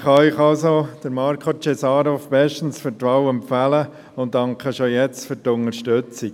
Ich kann Ihnen also Marko Cesarov bestens zur Wahl empfehlen und danke schon jetzt für die Unterstützung.